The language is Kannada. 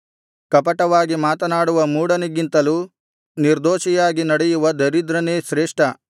ಕಪಟವಾಗಿ ಮಾತನಾಡುವ ಮೂಢನಿಗಿಂತಲೂ ನಿರ್ದೋಷಿಯಾಗಿ ನಡೆಯುವ ದರಿದ್ರನೇ ಶ್ರೇಷ್ಠ